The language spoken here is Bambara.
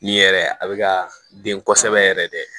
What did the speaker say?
Nin yɛrɛ a bɛ ka den kosɛbɛ yɛrɛ de